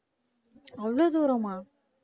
அவ்வளவு தூரமா?